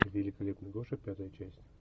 великолепный гоша пятая часть